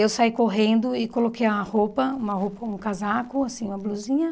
Eu saí correndo e coloquei uma roupa uma roupa, um casaco, assim uma blusinha.